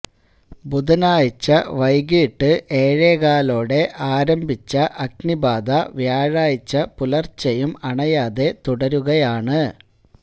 ബുധനാഴ്ച്ച വൈകിട്ട് ഏഴേ കാലോടെ ആരംഭിച്ച അഗ്നിബാധ വ്യാഴാഴ്ച്ച പുലര്ച്ചെയും അണയാതെ തുടരുകയാണ്